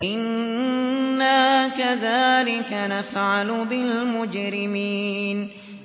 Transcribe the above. إِنَّا كَذَٰلِكَ نَفْعَلُ بِالْمُجْرِمِينَ